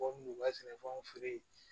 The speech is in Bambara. sɛnɛfɛnw feere